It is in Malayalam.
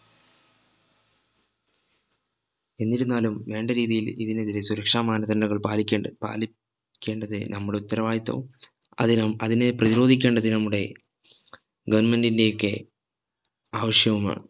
എന്നിരുന്നാലും വേണ്ട രീതിയിൽ ഇതിനെതിരെ സുരക്ഷാ മാനദണ്ഡങ്ങൾ പാലിക്കേ പാലിക്കേണ്ടത് നമ്മുടെ ഉത്തരവാദിത്വവും അതിനം അതിനെ പ്രധിരോധിക്കേണ്ടത് നമ്മുടെ government ഒക്കെ ആവശ്യവുമാണ് ആണ്